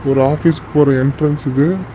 ஒரு ஆபீஸ்க்கு போற என்ட்ரன்ஸ் இது.